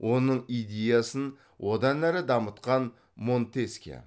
оның идеясын одан әрі дамытқан монтескье